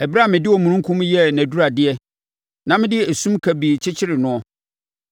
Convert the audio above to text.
ɛberɛ a mede omununkum yɛɛ nʼaduradeɛ na mede esum kabii kyekyeree noɔ,